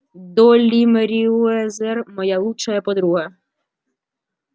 долли мерриуэзер моя лучшая подруга